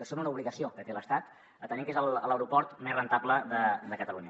són una obligació que té l’estat atès que és l’aeroport més rendible de catalunya